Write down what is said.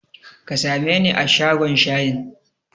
Ka sameni a shagon shayin?